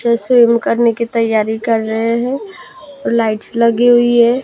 जैसे मुकरने की तैयारी कर रहे हैं लाइट्स लगी हुई है।